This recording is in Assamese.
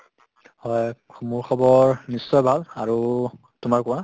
হয় মোৰ খবৰ নিশ্চয় ভাল। আৰু তোমাৰ কোৱা।